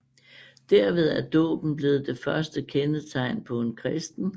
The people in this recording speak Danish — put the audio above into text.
Derved er dåben blevet det første kendetegn på en kristen